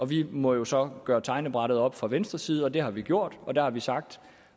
vi måtte jo så gøre regnebrættet op fra venstres side det har vi gjort og der har vi sagt